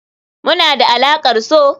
Muna da alaƙar so.